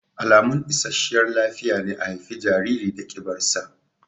Alamun isasshiyar lafiya ne a haifi jariri da ƙibar sa